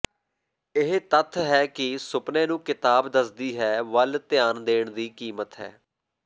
ਇਹ ਤੱਥ ਹੈ ਕਿ ਸੁਪਨੇ ਨੂੰ ਕਿਤਾਬ ਦੱਸਦੀ ਹੈ ਵੱਲ ਧਿਆਨ ਦੇਣ ਦੀ ਕੀਮਤ ਹੈ